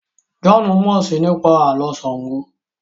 John mọ sii nípa Àló̩ Ṣàngó